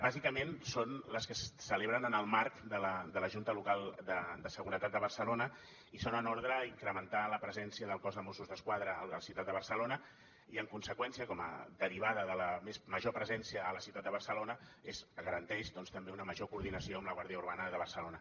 bàsicament són les que es celebren en el marc de la junta local de seguretat de barcelona i són en ordre a incrementar la presència del cos de mossos d’esquadra a la ciutat de barcelona i en conseqüència com a derivada de la major presència a la ciutat de barcelona garanteix doncs també una major coordinació amb la guàrdia urbana de barcelona